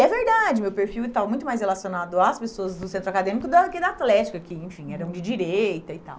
E é verdade, meu perfil e tal, muito mais relacionado às pessoas do centro acadêmico do que da atlética, que, enfim, eram de direita e tal.